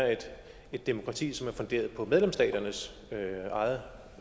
et demokrati som er funderet på medlemsstaternes eget